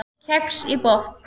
Kex í botn